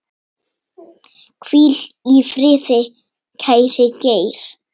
Hvíl í friði, kæri Geir.